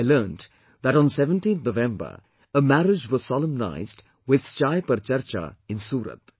I learnt that on 17th November, a marriage was solemnised with 'Chai Par Charcha' in Surat